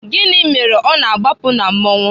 Gịnị mere ọ na-agbapụ na masquerade?